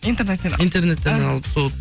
интернеттен интернеттен алып сол